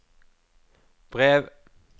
brev